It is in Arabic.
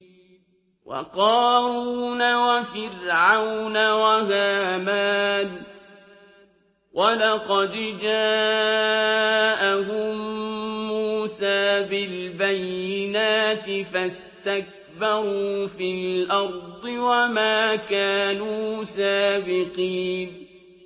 وَقَارُونَ وَفِرْعَوْنَ وَهَامَانَ ۖ وَلَقَدْ جَاءَهُم مُّوسَىٰ بِالْبَيِّنَاتِ فَاسْتَكْبَرُوا فِي الْأَرْضِ وَمَا كَانُوا سَابِقِينَ